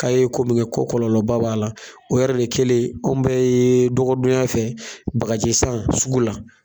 K'a ye ko min kɛ ko kɔlɔlɔba b'a la o yɛrɛ de kɛlen an bɛɛ yee dɔgɔdon ya fɛ bagaji san sugu la